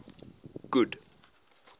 good